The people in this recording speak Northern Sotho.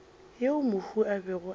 yeo mohu a bego a